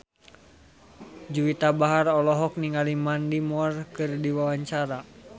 Juwita Bahar olohok ningali Mandy Moore keur diwawancara